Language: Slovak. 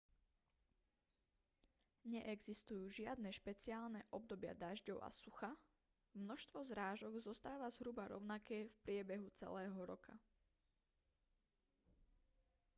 neexistujú žiadne špeciálne obdobia dažďov a sucha množstvo zrážok zostáva zhruba rovnaké v priebehu celého roka